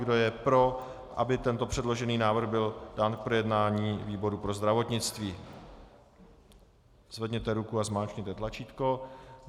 Kdo je pro, aby tento předložený návrh byl dán k projednání výboru pro zdravotnictví, zvedněte ruku a zmáčkněte tlačítko.